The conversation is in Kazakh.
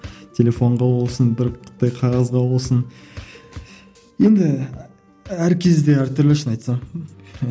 телефонға болсын бір қағазға болсын енді әр кезде әртүрлі шын айтсам